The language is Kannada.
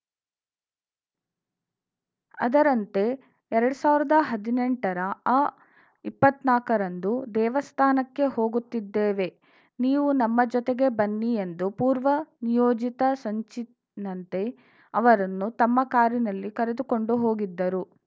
ಅದರಂತೆ ಎರಡ್ ಸಾವಿರ್ದ ಹದ್ನೆಂಟ ರ ಅಇಪ್ಪತ್ ನಾಕ ರಂದು ದೇವಸ್ಥಾನಕ್ಕೆ ಹೋಗುತ್ತಿದ್ದೇವೆ ನೀವು ನಮ್ಮ ಜತೆಗೆ ಬನ್ನಿ ಎಂದು ಪೂರ್ವ ನಿಯೋಜಿತ ಸಂಚಿನಂತೆ ಅವರನ್ನು ತಮ್ಮ ಕಾರಿನಲ್ಲಿ ಕರೆದುಕೊಂಡು ಹೋಗಿದ್ದರು